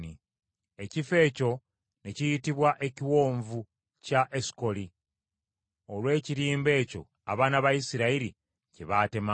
Ekifo ekyo ne kiyitibwa Ekiwonvu kya Esukoli, olw’ekirimba ekyo abaana ba Isirayiri kye baatemamu.